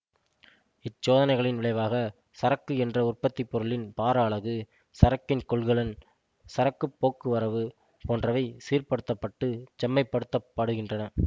இச்சோதனைகளின் விளைவாக சரக்கு என்ற உற்பத்தி பொருளின் பாரஅலகு சரக்கின் கொள்கலன் சரக்குப்போக்குவரவு போன்றவை சீர்படுத்தப்பட்டு செம்மைப்படுத்தப்படுகின்றன